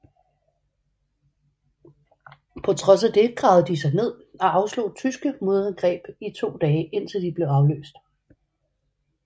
På trods af det gravede de sig ned og afslog tyske modangreb i to dage indtil de blev afløst